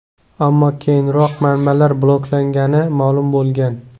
Ammo keyinroq manbalar bloklangani ma’lum bo‘lgan.